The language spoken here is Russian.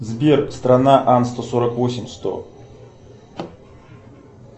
сбер страна ан сто сорок восемь сто